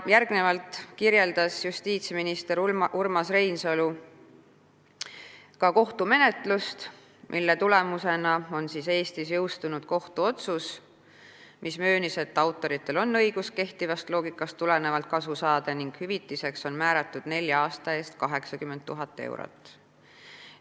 Järgnevalt kirjeldas justiitsminister Urmas Reinsalu kohtumenetlust, mille tulemusena on Eestis jõustunud kohtuotsus, mis möönis, et autoritel on õigus kehtivast loogikast tulenevalt kasu saada ning hüvitiseks on määratud nelja aasta eest 80 000 eurot.